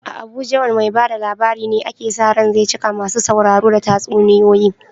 A Abuja wane mai ba da labari ne ake sa ran zai cika masu sauraro da tatsuniyoyi?